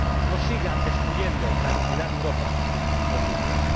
No sigan destruyendo la dignidad de Europa, señor Juncker.